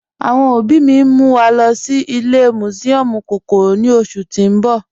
Awọn ọbì mì n mú wa lọ́ sí ìlẹ̀ musiọmu kọ́kọ́rọ́ ní oṣù tí n bọ̀